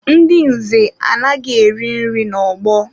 Ndị nze anaghị eri nri n'ọgbọ